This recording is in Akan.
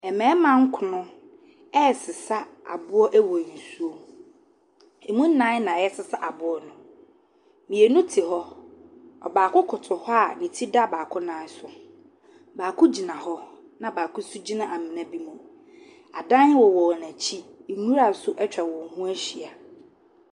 Mmarima nkron resesa aboɔ wɔ nsuo mu. Ɛmu nnan na wɔresesa aboɔ no. mmienu te hɔ. Ɔbaako koto hɔ a ne ti da baako nan so baako gyina hɔ, na baako nso gyina amena bi mu. Adan wowɔ n'akyi. Nwira nso atwa wɔn ho ahyia.